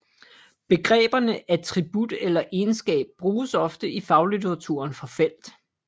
Begreberne attribut eller egenskab bruges ofte i faglitteraturen for felt